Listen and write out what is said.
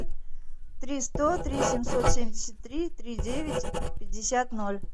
три сто три семьсот семьдесят три три девять пятьдесят ноль